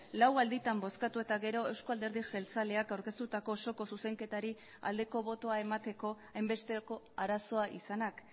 lau alditan bozkatu eta gero euzko alderdi jeltzaleak aurkeztutako osoko zuzenketari aldeko botoa emateko hainbesteko arazoa izanak